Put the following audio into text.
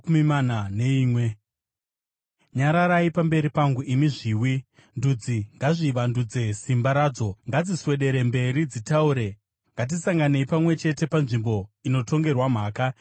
“Nyararai pamberi pangu, imi zviwi! Ndudzi ngadzivandudze simba radzo! Ngadziswedere mberi dzitaure; ngatisanganei pamwe chete panzvimbo inotongerwa mhaka.